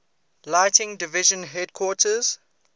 lighting division headquarters